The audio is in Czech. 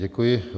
Děkuji.